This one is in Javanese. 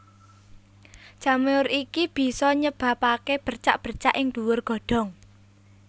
Jamur iki bisa nyebabaké bercak bercak ing dhuwur godhong